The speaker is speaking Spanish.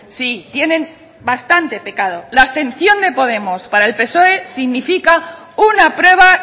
sí tienen bastante pecado la abstención de podemos para el psoe significa una prueba